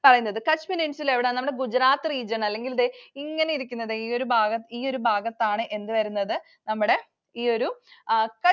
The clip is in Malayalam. Kutch Peninsula എവിടെയാണ്? നമ്മുടെ Gujarat region അല്ലെങ്കിൽ ദേ ഇങ്ങനെ ഇരിക്കുന്നത് ഈ ഈ ഒരു ഭാഗത്താണ് എന്ത് വരുന്നത്? നമ്മുടെ ഈ ഒരു ആ